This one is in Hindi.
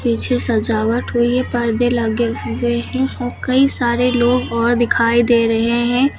पीछे सजावट हुई है पर्दे लगे हुए हैं कई सारे लोग और दिखाई दे रहे हैं।